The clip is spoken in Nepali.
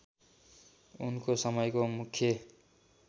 उनको समयको मुख्य